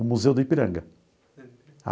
O Museu do Ipiranga.